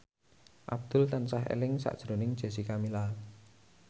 Abdul tansah eling sakjroning Jessica Milla